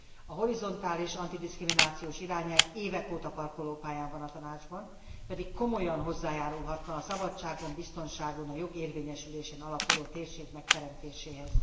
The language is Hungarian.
A horizontális antidiszkriminációs irányelv évek óta parkolópályán van a Tanácsban, pedig komolyan hozzájárulhatna a szabadságon, a biztonságon és a jogérvényesülésen alapuló térség megteremtéséhez.